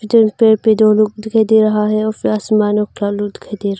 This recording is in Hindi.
चारपाई पे दो लोग दिखाई दे रहा है और ।